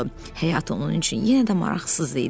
Həyat onun üçün yenə də maraqsız idi.